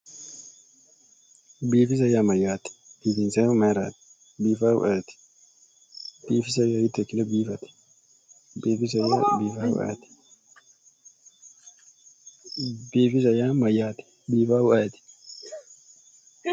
Biifisa yaa mayyaate biifinsayhu mayraati biifinsayhu ayeeti biifisa yaa hiitto ikkine biifate bifisannohu ayeeti biifisa yaa mayyaate biifaahu ayeeti